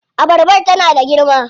Abarbar tana da girma?